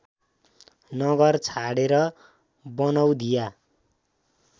नगर छाडेर बनौधिया